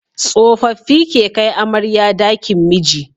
Tsofaffi ke kai amarya dakin miji